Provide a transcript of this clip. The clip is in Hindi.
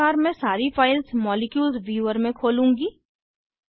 इसी प्रकार मैं सारी फाइल्स मॉलिक्यूल्स व्यूवर में खोलूँगी